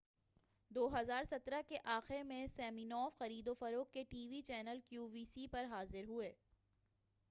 2017 کے آخر میں سمینوف خرید و فروخت کے T V channel Q V C پر حاضر ہوئے